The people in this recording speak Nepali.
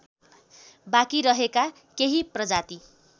बाँकी रहेका केही प्रजाति